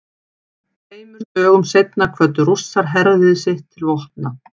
Tveimur dögum seinna kvöddu Rússar herlið sitt til vopna.